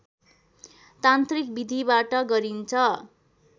तान्त्रिक विधिबाट गरिन्छ